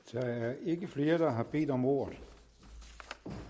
der er ikke flere der har bedt om ordet